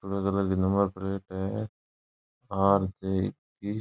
पीले कलर की number plate है आर जे इक्कीस।